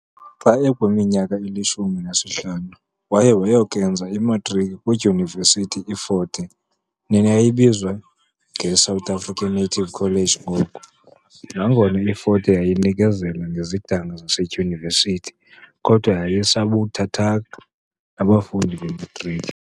Xa ekwiminyaka elishumi nesihlanu, waye wayokenza imatriki kwidyunivesithi I Fort Hare, neyayibizwa nge South African Native College ngoko. Nangona I Fort Hare yayinikezela ngezidanga zasedyunivesithi, kodwa yayisakubathatha nabafundi bematriki.